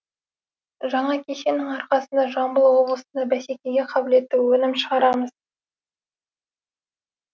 жаңа кешеннің арқасында жамбыл облысында бәсекеге қабілетті өнім шығарамыз